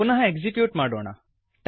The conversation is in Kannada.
ಪುನಃ ಎಕ್ಸಿಕ್ಯೂಟ್ ಮಾಡೋಣ